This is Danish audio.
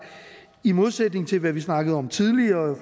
i modsætning til hvad vi snakkede om tidligere